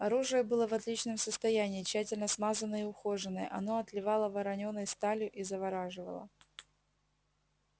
оружие было в отличном состоянии тщательно смазанное и ухоженное оно отливало воронёной сталью и завораживало